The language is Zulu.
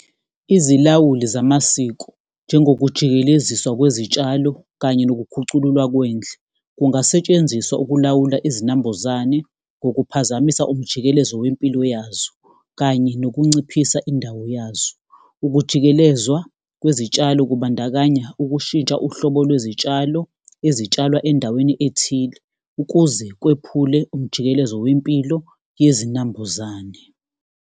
Izilawuli zamasiko njengokujikeleziswa kwezitshalo kanye nokukhucululwa kwendle, kungasetshenziswa ukulawula izinambuzane ngokuphazamisa umjikelezo wempilo yazo, kanye nokunciphisa indawo yazo. Ukujikelezwa kwezitshalo kubandakanya ukushintsha uhlobo lwezitshalo ezitshalwa endaweni ethile ukuze kwephule umjikelezo wempilo yezinambuzane.